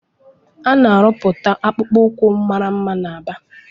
Ana arụputa akpụkpọ ukwu màrà mma na Aba.